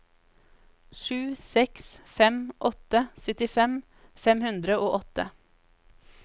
sju seks fem åtte syttifem fem hundre og åtte